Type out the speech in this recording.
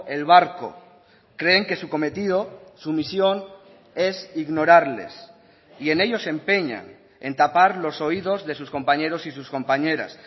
el barco creen que su cometido su misión es ignorarles y en ello se empeñan en tapar los oídos de sus compañeros y sus compañeras